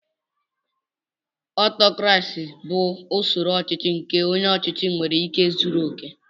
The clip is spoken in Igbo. Ọtọkrasị bụ usoro ọchịchị nke onye ọchịchị nwere ike zuru okè.